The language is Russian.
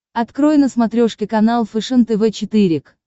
открой на смотрешке канал фэшен тв четыре к